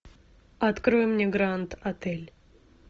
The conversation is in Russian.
открой мне гранд отель